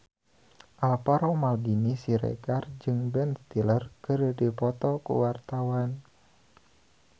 Alvaro Maldini Siregar jeung Ben Stiller keur dipoto ku wartawan